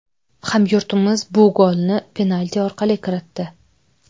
Hamyurtimiz bu golni penalti orqali kiritdi.